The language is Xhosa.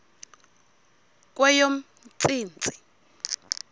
kweyomntsintsi